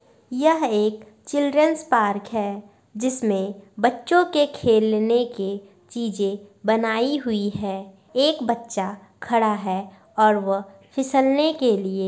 यह एक children's park है जिसमें बच्चों के खेलने के चीजे बनाई हुई है एक बच्चा खड़ा है और वह फिसलने के लिए --